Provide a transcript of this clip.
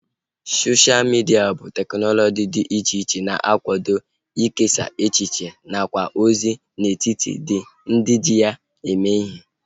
Sosha midia bụ teknụzu dị iche iche na-akwado ikesa echiche nakwa ozi n'etiti ndị ji ya eme ihe